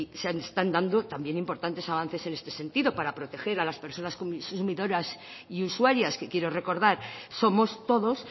se están dando también importantes avances en este sentido para proteger a las personas consumidoras y usuarias que quiero recordar somos todos